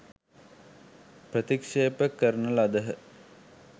ප්‍රතික්‍ෂේප කරන ලදහ.